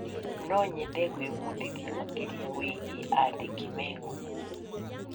No nyende gwĩbundithia makĩria wĩgiĩ andĩki me ngumo.